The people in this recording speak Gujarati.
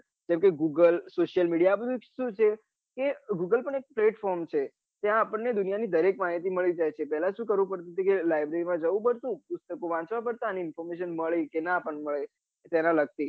જેમ કે google social media આબઘુ સુ છે કે google પન એક platform છે ત્યાં આપણ ને દુનિયા ની દરેક માહિતી મળી જાય છે પેહલા સુ કરવું પડતું હતું કે library માં જવું પડતું પુસ્તકો વાંચવા પડતા અને information મળે કે ના પન મલે તેના લગતી